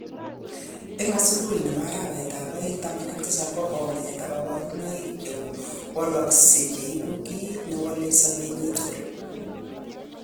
En subui nebo arawetab aeng 17 kogo'nget ak koborunoik chewalokshek koibu kit newole sobenyin tugul.